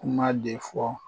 Kuma de fɔ